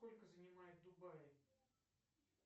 сколько занимают дубаи